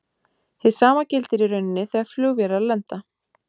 Hið sama gildir í rauninni þegar flugvélar lenda.